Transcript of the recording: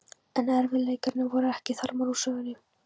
En erfiðleikarnir voru ekki þarmeð úr sögunni.